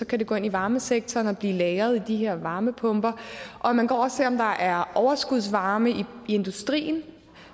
kan det gå ind i varmesektoren og blive lagret i de her varmepumper og man kan også om der er overskudsvarme i industrien